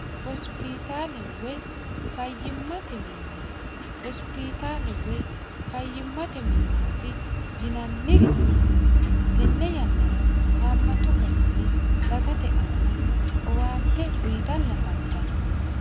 hosipitaale woy fayyimmate minna hosipiitaale woy fayyimmate minnaati yinanniri tenne yannara haammatu garinni dagate aana owaante uyitanni afantanno